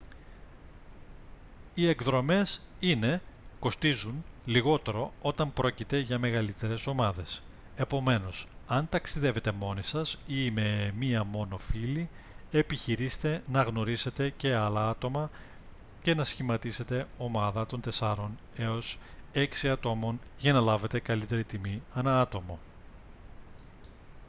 οι εκδρομές είναι κοστίζουν λιγότερο όταν πρόκειται για μεγαλύτερες ομάδες επομένως αν ταξιδεύετε μόνοι σας ή με μία μόνο φίλη επιχειρήστε να γνωρίσετε και άλλα άτομα και να σχηματίσετε ομάδα των τεσσάρων έως έξι ατόμων για να λάβετε καλύτερη τιμή ανά άτομο